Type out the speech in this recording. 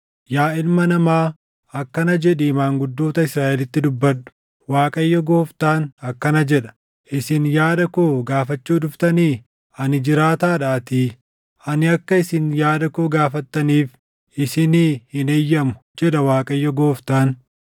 “Yaa ilma namaa, akkana jedhii maanguddoota Israaʼelitti dubbadhu; ‘ Waaqayyo Gooftaan akkana jedha: Isin yaada koo gaafachuu dhuftanii? Ani jiraataadhaatii, ani akka isin yaada koo gaafattaniif isinii hin eeyyamu, jedha Waaqayyo Gooftaan.’